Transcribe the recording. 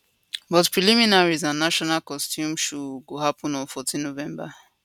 but preliminaries and national costume show go happen on 14 november